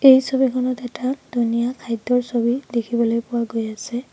এই ছবিখনত এটা ধুনীয়া খাদ্যৰ ছবি দেখিবলৈ পোৱা গৈ আছে।